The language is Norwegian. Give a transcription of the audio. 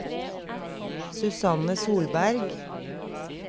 Susanne Solberg